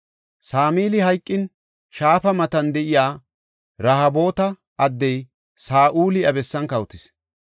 Samili hayqin, shaafa matan de7iya Rehoboota addey Saa7uli iya bessan kawotis.